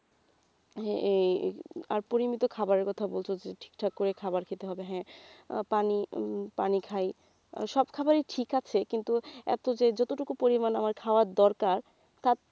হ্যাঁ এই আর পরিমিত খাবারের কথা বলছ ঠিক ঠাক করে খাবার খেতে হবে হ্যাঁ আহ পানি উম পানি খাই আহ সব খাবারই ঠিক আছে কিন্তু এত যে যতটুকু পরিমাণ আমার খাওয়ার দরকার তার,